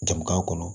Jamana kɔnɔ